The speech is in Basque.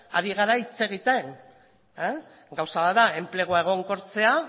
ari gara hitz egiten gauza bat da enplegua egonkortzea